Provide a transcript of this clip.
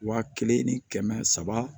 Wa kelen ni kɛmɛ saba